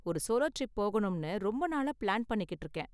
ஒரு solo trip போகணும்னு ரொம்ப நாளா ப்ளான் பண்ணிக்கிட்டு இருக்கேன்.